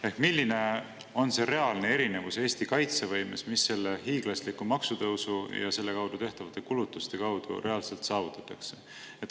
Ehk milline on reaalne erinevus Eesti kaitsevõimes, mis selle hiiglasliku maksutõusu ja selle kaudu tehtavate kulutustega reaalselt saavutatakse?